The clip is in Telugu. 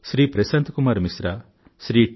శ్రీ ప్రశాంత్ కుమార్ మిశ్ర శ్రీ టి